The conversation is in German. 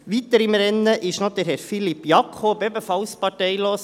Weiter im Rennen ist noch Herr Philippe Jakob, ebenfalls parteilos.